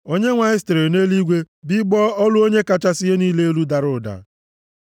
Onyenwe anyị sitere nʼeluigwe bigbọọ; olu Onye kachasị ihe niile elu dara ụda.